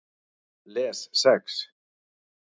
Les Sex